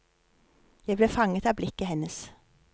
Jeg ble fanget av blikket hennes.